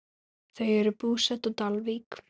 Þau eru búsett á Dalvík.